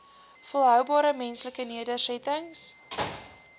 volhoubare menslike nedersettings